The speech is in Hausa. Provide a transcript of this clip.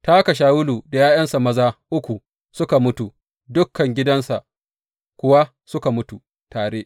Ta haka Shawulu da ’ya’yansa maza uku suka mutu, dukan gidansa kuwa suka mutu tare.